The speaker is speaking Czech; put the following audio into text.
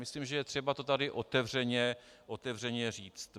Myslím, že je třeba to tady otevřeně říci.